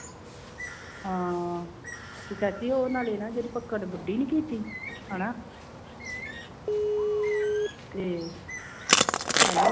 ਹਾਂ ਤੇ ਚਾਚੀ ਉਹ ਨਾਲੇ ਨਾ ਜਿਹੜੀ ਨੀ ਕੀਤੀ ਹਨਾ ਤੇ hello